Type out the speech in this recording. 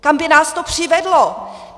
Kam by nás to přivedlo?